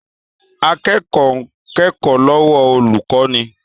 Akẹ́kọ̀ọ́ ń kẹ́kọ̀ọ́ lọ́wọ́ olùkọ́ni